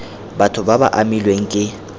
batho ba ba amilweng ke